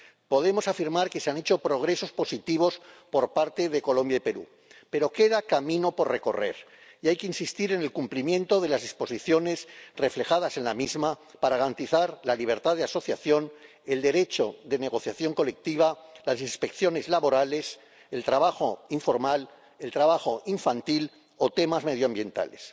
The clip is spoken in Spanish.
Podemos afirmar que se han hecho progresos positivos por parte de Colombia y Perú, pero queda camino por recorrer y hay que insistir en el cumplimiento de las disposiciones reflejadas para garantizar la libertad de asociación, el derecho de negociación colectiva, las inspecciones laborales, el trabajo informal, el trabajo infantil o temas medioambientales.